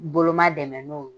Boloma dɛmɛ n'o ye.